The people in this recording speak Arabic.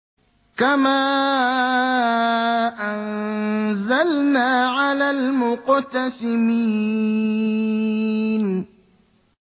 كَمَا أَنزَلْنَا عَلَى الْمُقْتَسِمِينَ